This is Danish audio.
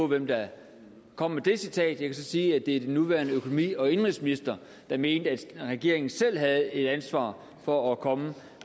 hvem der kom med det citat jeg kan så sige at det er den nuværende økonomi og indenrigsminister der mente at regeringen selv havde et ansvar for at komme